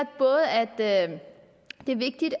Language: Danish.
det er vigtigt